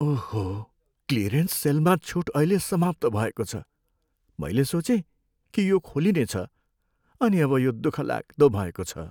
ओहो! क्लियरेन्स सेलमा छुट अहिले समाप्त भएको छ। मैले सोचेँ कि यो खोलिनेछ अनि अब यो दुःखलाग्दो भएको छ।